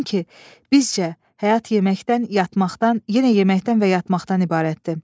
Çünki bizcə həyat yeməkdən, yatmaqdan, yenə yeməkdən və yatmaqdan ibarətdir.